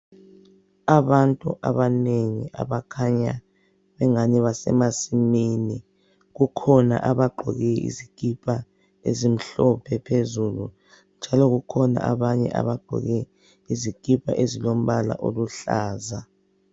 Abantu abanengi abakhanya engani basemasimini. Kukhona abagqoke izikipa ezimhlophe phezulu njalo kukhona abanye abagqoke izikipa ezilombala oluhlaza.